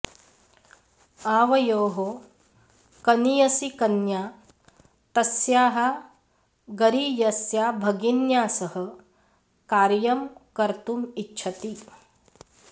आवयोः कनियसी कन्या तस्याः गरीयस्या भगिन्या सह कार्यं कर्तुम् इच्छति